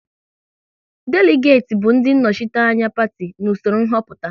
Deligati bụ ndị nnọchiteanya Parti n'usoro nhoputa